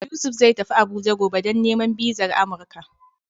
Yusuf zai tafi Abuja gobe, don nemo bizar Amuruka.